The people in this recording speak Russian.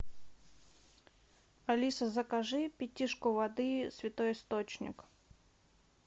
алиса закажи пятишку воды святой источник